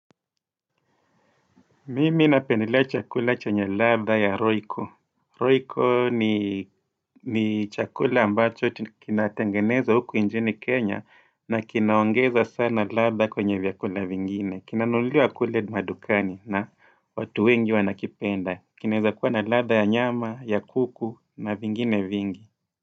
Mimi napendelea chakula chenye ladha ya royco. Royco ni chakula ambacho kina tengenezwa huku nchini Kenya na kinaongeza sana ladha kwenye vyakula vingine. Kina nunuliwa kule madukani na watu wengi wanakipenda. Kinaweza kuwa na ladha ya nyama, ya kuku na vingine vingi.